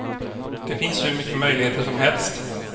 Det finns hur mycket möjligheter som helst.